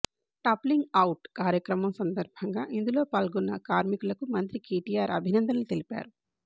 టాప్లింగ్ out కార్యక్రమం సందర్భంగా ఇందులో పాల్గొన్న కార్మికులకు మంత్రి కేటీఆర్ అభినందనలు తెలిపారు